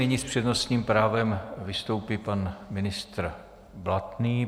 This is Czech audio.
Nyní s přednostním právem vystoupí pan ministr Blatný.